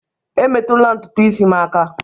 Emetụla ntutu isi m aka!